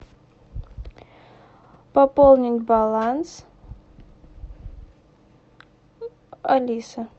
пополнить баланс алиса